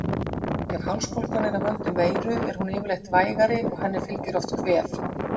Ef hálsbólgan er af völdum veiru er hún yfirleitt vægari og henni fylgir oft kvef.